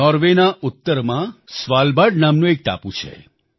નોર્વેના ઉત્તરમાં Svalbard Svalbard નામનો એક ટાપુ છે